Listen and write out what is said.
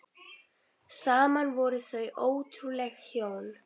Saman voru þau ótrúleg hjón.